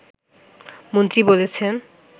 মন্ত্রী বলেছেন